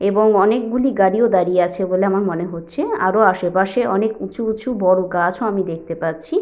এবং অনেকগুলি গাড়িও দাঁড়িয়ে আছে বলে আমার মনে হচ্ছে আরো আশেপাশে অনেক উঁচু উঁচু বড় গাছ ও আমি দেখতে পাচ্ছি।